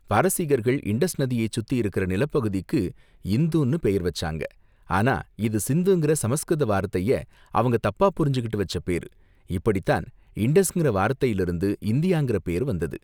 பாரசீகர்கள் Indus நதியை சுத்தி இருக்கிற நிலப்பகுதிக்கு இந்துன்னு பெயர் வச்சாங்க, ஆனா இது சிந்துங்கிற சமஸ்கிருத வார்த்தைய அவங்க தப்பா புரிஞ்சுகிட்டு வச்ச பேரு, இப்படிதான் இண்டஸ்ங்கிற வார்த்தைல இருந்து இந்தியாங்கிற பேரு வந்தது.